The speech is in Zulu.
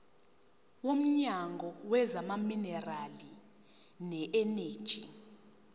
womnyango wezamaminerali neeneji